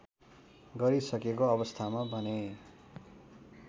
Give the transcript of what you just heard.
गरिसकेको अवस्थामा भने